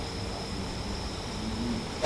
басына ел үйірілмейді